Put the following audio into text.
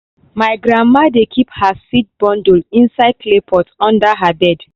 my grandma dey keep her seed bundle inside clay pot under her bed.